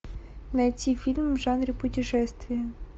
найти фильм в жанре путешествия